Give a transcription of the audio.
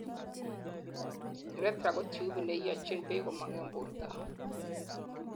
urethra kotubit neiyonchin beek komong en borto